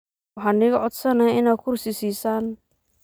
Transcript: Waxan nika codsanaya ina kursi siisan.